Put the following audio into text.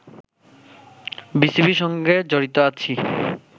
বিসিবির সঙ্গে জড়িত আছি